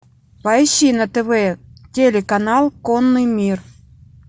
поищи на тв телеканал конный мир